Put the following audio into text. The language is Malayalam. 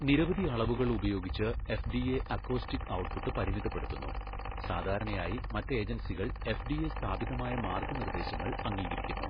നിരവധി അളവുകൾ ഉപയോഗിച്ച് എഫ്ഡിഎ അക്കോസ്റ്റിക് ഔട്ട്പുട്ട് പരിമിതപ്പെടുത്തുന്നു, സാധാരണയായി, മറ്റ് ഏജൻസികൾ എഫ്ഡിഎ സ്ഥാപിതമായ മാർഗ്ഗനിർദ്ദേശങ്ങൾ അംഗീകരിക്കുന്നു.